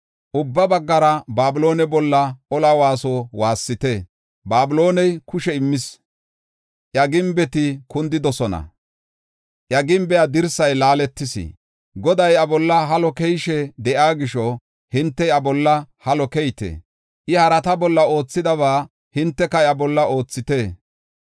Ubba baggara Babiloone bolla ola waaso waassite; Babilooney kushe immis; iya gimbeti kundidosona; iya gimbe dirsay laaletis. Goday iya bolla halo keyishe de7iya gisho, hinte iya bolla halo keyite. I harata bolla oothidaba hinteka iya bolla oothite.